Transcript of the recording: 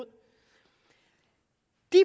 det